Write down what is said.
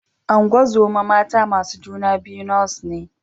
Ungozoma mata masu juna biyu Nurse ne